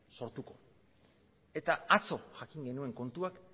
sortuko eta atzo jakin genuen kontua